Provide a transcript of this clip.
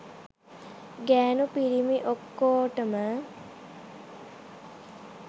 ගෑණු පිරිමි ඔක්කෝටම